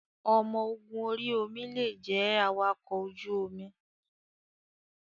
Ọmọ ogun orí omi lè jẹ́ awakọ̀ ojú omi.